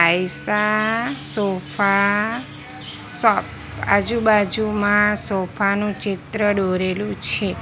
Ayesha sofa shop આજુબાજુમાં sofa નું ચિત્ર દોરેલું છે.